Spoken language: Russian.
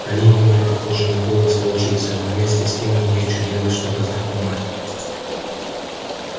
они не были похожи на голос волчицы но вместе с тем в них чудилось что то знакомое